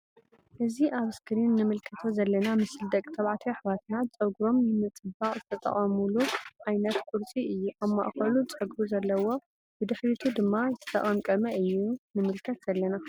እዚ አብ እስክሪን እንምልከቶ ዘለና ምስሊ ደቂ ተባዕትዮ አሕዋትና ፀጉሮም ንምፅባቅ ዝጠቀሙሉ ዓይነት ቁርፂ እዩ::አብ ማእከሉ ፀጉሪ ዘለዎ ብድሕሪቱ ድማ ዝተቀምቀመ እዩ ንምልከት ዘለና::